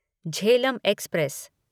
Jhelum express